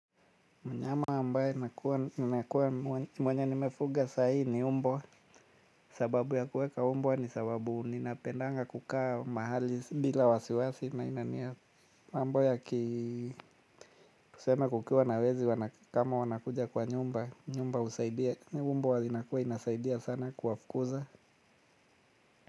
Mnyama ambaye nakuwa mwenye nimefuga sa hii ni mbwa, sababu ya kuweka mbwa ni sababu ninapendanga kukaa mahali bila wasiwasi na inaniya. Mambo ya tuseme kukiwa na wezi kama wanakuja kwa nyumba, nyumba husaidia, mbwa inakuwa inasaidia sana kuwafukuza.